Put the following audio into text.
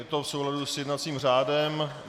Je to v souladu s jednacím řádem.